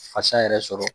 Fasa yɛrɛ sɔrɔ